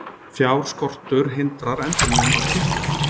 Fjárskortur hindrar endurnýjun á klippum